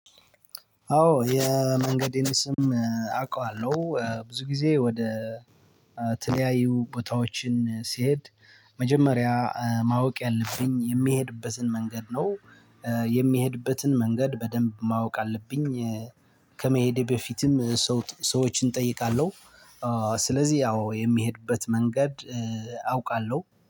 አዎ የመንገዴን ስም አውቃዋለሁ ብዙ ጊዜ ወደ ተለያዩ ቦታዎችን ሲሄድ መጀመሪያ ማወቅ ያለብኝ የሚሄድበትን መንገድ ነው። የሚሄድበትን መንገድ በደንብ ማወቅ አለብኝ። ከመሄዴ በፊትም ሰዎችን እጠይቃለሁ። ስለዚህ አዎ የሚሄድበት መንገድ አውቃለሁ